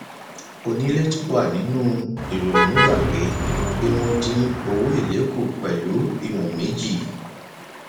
onílé tó wà nínú ìrònú gbà pé kí wọn dín owó èlé kù pẹlú ìwọn méjì